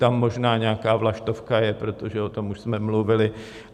Tam možná nějaká vlaštovka je, protože o tom už jsme mluvili.